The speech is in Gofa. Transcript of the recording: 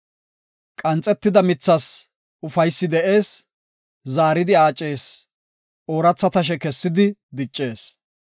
Qanxetida mithas ufaysi de7ees; zaaridi aacees; ooratha tashe kessidi diccees.